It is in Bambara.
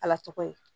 Ala tɔgɔ ye